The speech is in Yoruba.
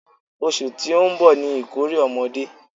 Oṣù tí ó ń bọ̀ ni ìkórè ọmọdé.